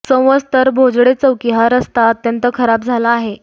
संवत्सर भोजडे चौकी हा रस्ता अत्यंत खराब झाला आहे